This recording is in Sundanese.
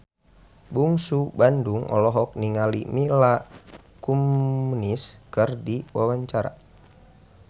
Bungsu Bandung olohok ningali Mila Kunis keur diwawancara